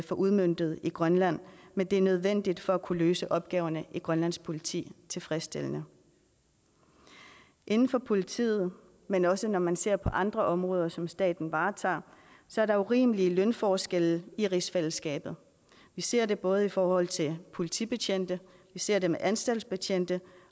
få udmøntet i grønland men det er nødvendigt for at kunne løse opgaverne i grønlands politi tilfredsstillende inden for politiet men også når man ser på andre områder som staten varetager er der urimelige lønforskelle i rigsfællesskabet vi ser det både i forhold til politibetjente vi ser det med anstaltsbetjente